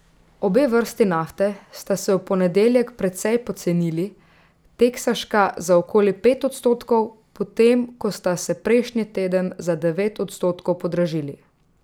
Obe vrsti nafte sta se v ponedeljek precej pocenili, teksaška za okoli pet odstotkov, potem ko sta se prejšnji teden za devet odstotkov podražili.